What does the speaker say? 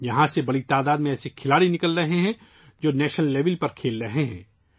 یہاں سے بڑی تعداد میں کھلاڑی ابھر رہے ہیں ، جو قومی سطح پر کھیل رہے ہیں